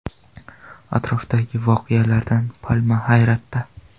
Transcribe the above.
Atrofdagi voqealardan palma hayratda.